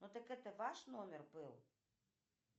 ну так это ваш номер был